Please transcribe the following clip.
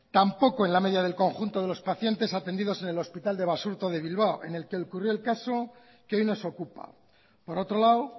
tampoco en la media del conjunto de los pacientes atendidos en el hospital de basurto de bilbao en el que ocurrió el caso que hoy nos ocupa por otro lado